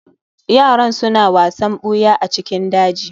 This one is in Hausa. yaran suna wasan buya a cikin daji